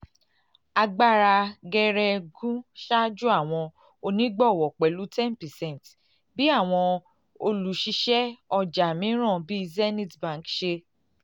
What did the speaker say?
agbara geregu ṣaju awọn onigbọwọ pẹlu 10 percent bi awọn oluṣiṣẹ ọja miiran bii zenith bank ṣe